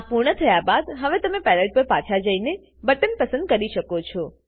આ પૂર્ણ થયા બાદ હવે તમે પેલેટ પર પાછા જઈને બટન પસંદ કરી શકો છો